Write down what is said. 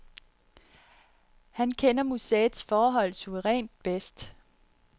Han kender museets forhold suverænt bedst.